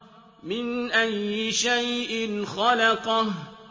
مِنْ أَيِّ شَيْءٍ خَلَقَهُ